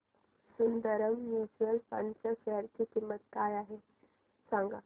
Sundaram mutual fund च्या share ची किंमत काय आहे सांगा